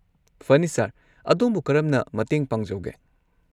ꯐꯅꯤ, ꯁꯔ, ꯑꯗꯣꯝꯕꯨ ꯀꯔꯝꯅ ꯃꯇꯦꯡ ꯄꯥꯡꯖꯧꯒꯦ?